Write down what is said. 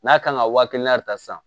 N'a kan ka wa kelen ta san